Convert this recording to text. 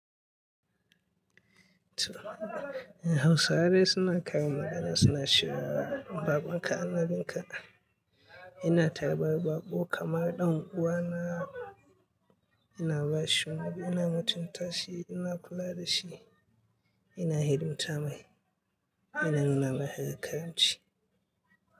Hausawa dai suna kawo magana suna cewa baƙonka annabinka. Ina tarbar baƙo kamar ɗan uwana, ina ba shi magana, ina mutunta shi, ina kula da shi, ina hidimta mai, ina nuna mai karamci.